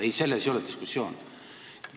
Ei, selles ei ole küsimus.